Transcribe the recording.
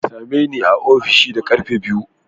Ka same ni a ofishin da ƙarfe biyu!